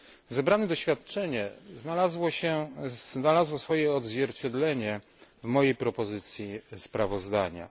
Zebrane doświadczenie znalazło swoje odzwierciedlenie w mojej propozycji sprawozdania.